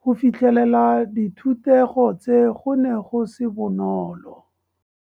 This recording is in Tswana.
Go fitlhelela dithutego tse go ne go se bonolo.